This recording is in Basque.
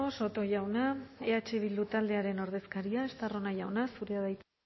soto jauna eh bildu taldearen ordezkaria estarrona jauna zurea da hitza